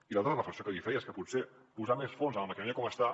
i l’altre és la reflexió que li feia és que potser posar més fons en la maquinària com està